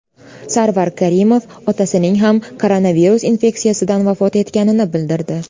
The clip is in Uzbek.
Sarvar Karimov otasining ham koronavirus infeksiyasidan vafot etganini bildirdi .